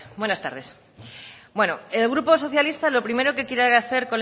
buenas tardes el grupo socialista lo primero que quiere hacer